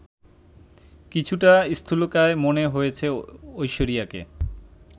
কিছুটা স্থূলকায় মনে হয়েছে ঐশ্বরিয়াকে